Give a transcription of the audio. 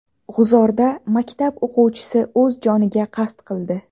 G‘uzorda maktab o‘quvchisi o‘z joniga qasd qildi.